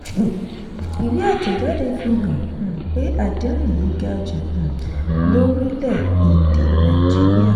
ìwé àtẹ̀jáde fi hàn um pé àdéhùn yìí ga jù um lórílẹ̀-èdè nàìjíríà.